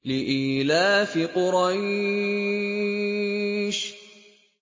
لِإِيلَافِ قُرَيْشٍ